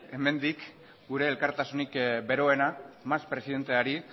hemendik gure elkartasunik beroena mas presidenteari